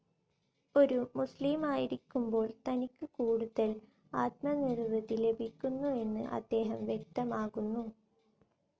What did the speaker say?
ഒരു മുസ്ലീമായിരിക്കുമ്പോൾ തനിക്ക് കൂടുതൽ ആത്മനിർവൃതി ലഭിക്കുന്നുവെന്ന് അദ്ദേഹം വ്യക്തമാകുന്നു.